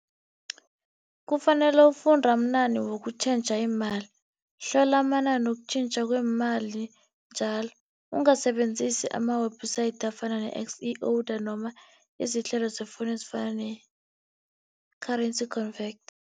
Kufanele ufunda wokutjhentjha imali. Hlola amanani wokutjhentjha kweemali njalo. Ungasebenzisi ama-website afana noma izihlelo zefowunu ezifana ne-currency converter.